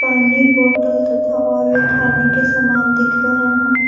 पानी बोटल तथा और भी खाने के समान दिख रहे हैं।